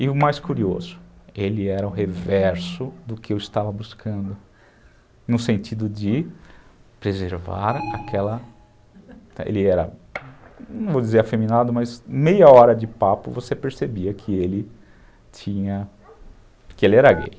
E o mais curioso, ele era o reverso do que eu estava buscando, no sentido de preservar aquela... ele era, não vou dizer afeminado, mas meia hora de papo você percebia que ele tinha... que ele era gay.